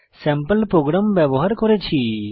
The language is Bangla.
স্যাম্পল প্রোগ্রাম ব্যবহার করেছি